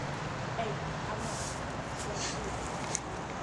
эй арнольд сезон четыре